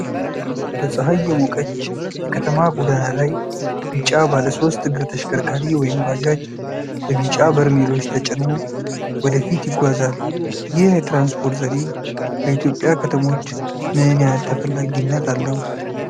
በፀሐይ የሞቀች የከተማ ጎዳና ላይ፣ ቢጫ ባለሶስት እግር ተሽከርካሪ (ባጃጅ) በቢጫ በርሜሎች ተጭኖ ወደ ፊት ይጓዛል። ይህ የትራንስፖርት ዘዴ በኢትዮጵያ ከተሞች ምን ያህል ተፈላጊነት አለው?